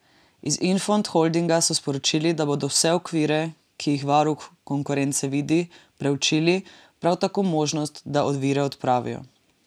Iz Infond Holdinga so sporočili, da bodo vse ovire, ki jih varuh konkurence vidi, proučili, prav tako možnost, da ovire odpravijo.